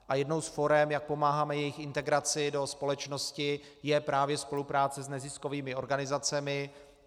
A jednou z forem, jak pomáháme jejich integraci do společnosti, je právě spolupráce s neziskovými organizacemi.